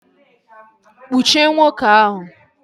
Nnwuchie nwoke ahụ!